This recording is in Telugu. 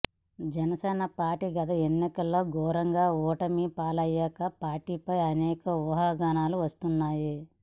జనసేన పార్టీ గత ఎన్నికల్లో ఘోరంగా ఓటమిపాలయ్యాక పార్టీపై అనేక ఊహాగానాలు వస్తున్నాయి